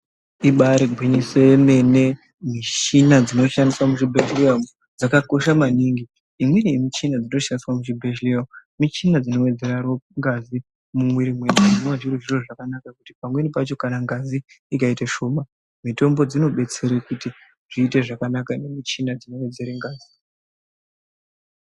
Ibarigwinyiso romene michina dzinoshandiswa kuzvibhedhlera dzakakosha maningi, nemimwe michina dzinoshandiswa muzvibhedhlera michina dzinowedzera ngazi mumuviri, zvinova zvinhu zvakanaka nekuti pamweni pacho kana ngazi ikaita shoma, mitombo dzinobetsera kuti zviite zvakanaka nemichina inowedzera ngazi.